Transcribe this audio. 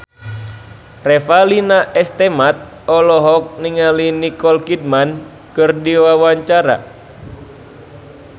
Revalina S. Temat olohok ningali Nicole Kidman keur diwawancara